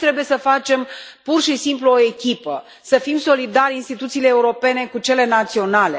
Aici trebuie să facem pur și simplu o echipă, să fim solidari instituțiile europene cu cele naționale.